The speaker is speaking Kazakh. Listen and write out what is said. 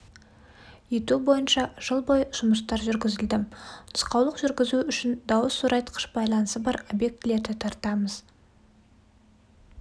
ету бойынша жыл бойы жұмыстар жүргізіледі нұсқаулық жүргізу үшін дауыс зорайтқыш байланысы бар объектілерді тартамыз